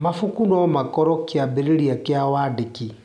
Mabuku no makorwo kĩambĩrĩria kĩa wandĩki.